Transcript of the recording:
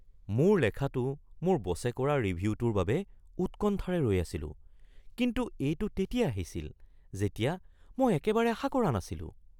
মোৰ লেখাটো মোৰ বছে কৰা ৰিভিউটোৰ বাবে উৎকণ্ঠাৰে ৰৈ আছিলো, কিন্তু এইটো তেতিয়া আহিছিল যেতিয়া মই একেবাৰে আশা কৰা নাছিলোঁ।